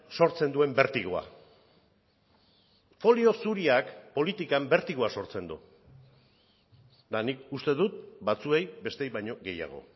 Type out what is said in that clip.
sortzen duen bertigoa folio zuriak politikan bertigoa sortzen du eta nik uste dut batzuei besteei baino gehiago